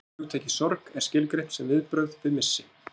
Hugtakið sorg er skilgreint sem viðbrögð við missi.